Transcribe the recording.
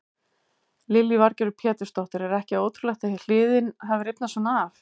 Lillý Valgerður Pétursdóttir: Er ekki ótrúlegt að hliðin geti rifnað svona af?